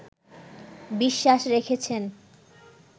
বিশ্বাস রেখেছেন